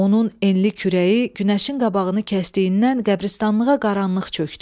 Onun enli kürəyi günəşin qabağını kəsdiyindən qəbiristanlığa qaranlıq çökdü.